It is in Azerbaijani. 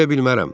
Verə bilmərəm.